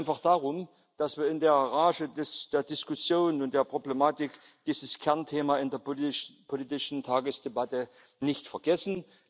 Ich bitte einfach darum, dass wir in der Rage der Diskussion und der Problematik dieses Kernthema in der politischen Tagesdebatte nicht vergessen.